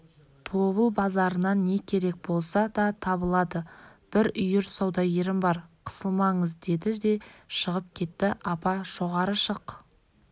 тобыл базарынан не керек болса да табылады бір үйір саудагерім бар қысылмаңыз деді де шығып кетті апа жоғары шық